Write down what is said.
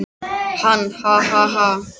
Hann: Ha ha ha.